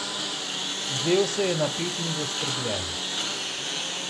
Zdel se je napet in zaskrbljen.